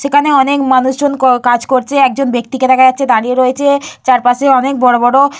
সেখানে অনেক মানুষজন ক কাজ করছে একজন ব্যক্তিকে দেখা যাচ্ছে দাঁড়িয়ে রয়েছে চারপাশে অনেক বড় বড়--